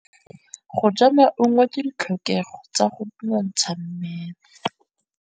Go ja maungo ke ditlhokegô tsa go nontsha mmele.